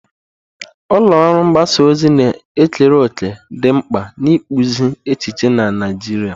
Ulọ ọrụ mgbasa ozi na-ekere òkè dị mkpa n'ịkpụzi echiche na Naijiria.